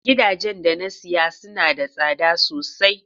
Gidajen da na saya suna da tsada sosai.